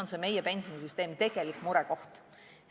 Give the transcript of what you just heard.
Mis on meie pensionisüsteemi tegelik murekoht?